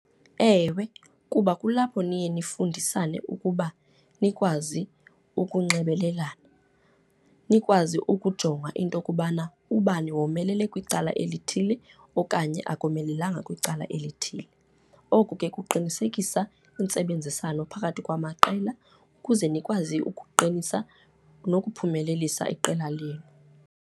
Ewe, kuba kulapho niye nifundisane ukuba nikwazi ukunxibelelana, nikwazi ukujonga into okubana ubani womelele kwicala elithile okanye akomelelanga kwicala elithile. Oku ke kuqinisekisa intsebenziswano phakathi kwamaqela ukuze nikwazi ukuqinisa nokuphumelelisa iqela lenu.